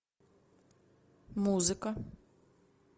музыка